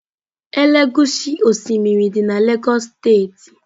Elegushi osimiri dị na Lagos steeti.